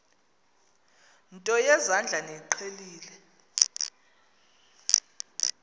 nto yezandla niyiqhelile